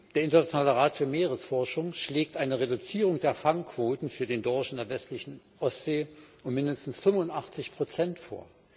Der Internationale Rat für Meeresforschung schlägt eine Reduzierung der Fangquoten für den Dorsch in der westlichen Ostsee um mindestens 85 Prozent vor.